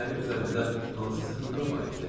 Guya mənim üzərimdə hansısa hüquqa malikdir.